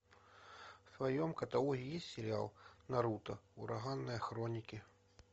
в твоем каталоге есть сериал наруто ураганные хроники